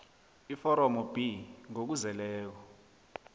iforomo b ngokuzeleko